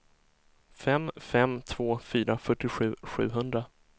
fem fem två fyra fyrtiosju sjuhundra